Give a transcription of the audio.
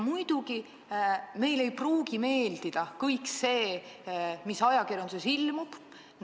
Muidugi, meile ei pruugi meeldida kõik see, mis ajakirjanduses ilmub.